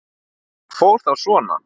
Það fór þá svona.